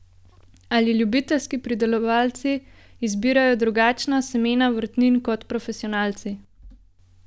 Ali ljubiteljski pridelovalci izbirajo drugačna semena vrtnin kot profesionalci?